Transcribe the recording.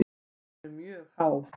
Hún er mjög há.